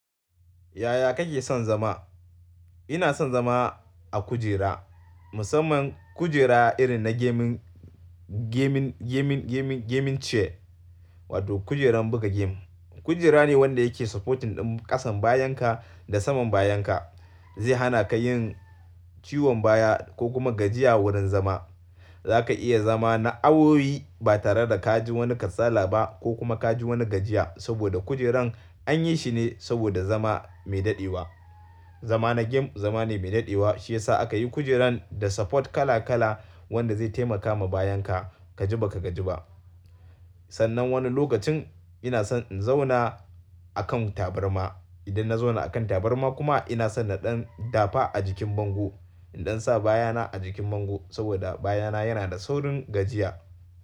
Yaya kake son zama? Ina son zama a kujera. Musamman kujera irin na gaming, gaming, gaming, gaming chair wato kujeran buga game. Kujera ne wanda yake supporting ɗan ƙasan bayan ka da saman bayan ka. Zai hana ka yin ciwon baya ko kuma gajiya wurin zama. Za ka iya zama na awowi ba tare da ka ji wani kasala ba ko kuma ka ji wani gajiya saboda kujeran an yi shi ne saboda zama mai daɗewa. Zama na game zama ne mai daɗewa shiyasa aka yi kujeran da support kala kala wanda zai taimaka ma bayan ka ka ji ba ka gaji ba. Sannan wani lokacin ina son in zauna a kan tabarma. Idan na zauna a kan tabarma kuma ina son na ɗan dafa a jikin bango. In ɗan sa bayana a jikin bango saboda bayana yana da saurin gajiya.